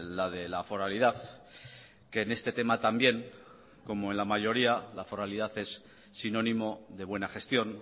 la de la foralidad que en este tema también como en la mayoría la foralidad es sinónimo de buena gestión